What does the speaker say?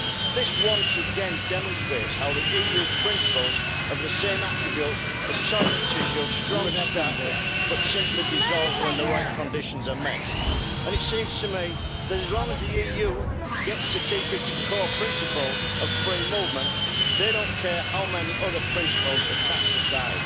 This once again demonstrates how the EU's principles have the same attributes as toilet tissue strong to start with, but simply dissolves when the right conditions are met. It seems to me that, as long as the EU gets to keep its core principles of free movement, they do not care how many other principles are cast aside.